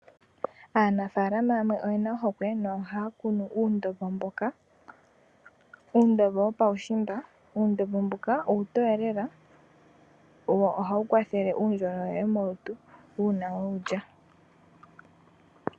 Aanafalama oye na ohokwe nohaya kunu nuundombo mboka wopaushimba. Uundombo mbuka uutoye lela wo ohawu kwathele uundjolowele molutu uuna we wu lya.